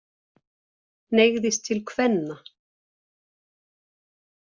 Hneigðist til kvenna.